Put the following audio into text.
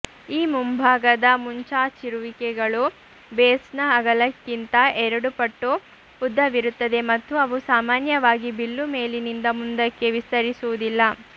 ಈ ಮುಂಭಾಗದ ಮುಂಚಾಚಿರುವಿಕೆಗಳು ಬೇಸ್ನ ಅಗಲಕ್ಕಿಂತ ಎರಡು ಪಟ್ಟು ಉದ್ದವಿರುತ್ತವೆ ಮತ್ತು ಅವು ಸಾಮಾನ್ಯವಾಗಿ ಬಿಲ್ಲು ಮೇಲಿನಿಂದ ಮುಂದಕ್ಕೆ ವಿಸ್ತರಿಸುವುದಿಲ್ಲ